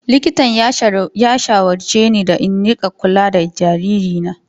Likitan ya shawarce ni da in rika kula da jaririna.